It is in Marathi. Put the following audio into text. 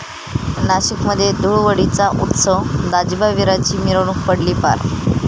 नाशिकमध्ये धुळवडीचा उत्सव, दाजिबा विराची मिरवणूक पडली पार